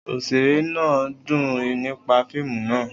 Oṣere naa dun nipa fiimu naa